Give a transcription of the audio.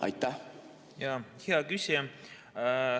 Hea küsija!